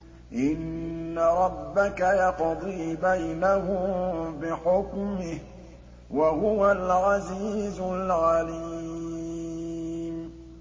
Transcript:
إِنَّ رَبَّكَ يَقْضِي بَيْنَهُم بِحُكْمِهِ ۚ وَهُوَ الْعَزِيزُ الْعَلِيمُ